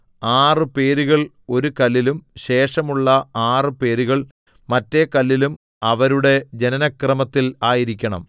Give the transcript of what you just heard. ആറ് പേരുകൾ ഒരു കല്ലിലും ശേഷമുള്ള ആറ് പേരുകൾ മറ്റേ കല്ലിലും അവരുടെ ജനനക്രമത്തിൽ ആയിരിക്കണം